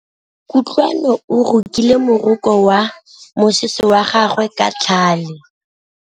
Kutlwanô o rokile morokô wa mosese wa gagwe ka tlhale.